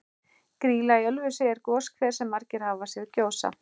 Grýla í Ölfusi er goshver sem margir hafa séð gjósa.